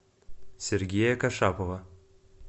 сергея кашапова